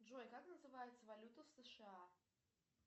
джой как называется валюта в сша